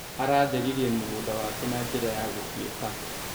Aratheririe mũgũnda wake na njĩra ya gũfieka.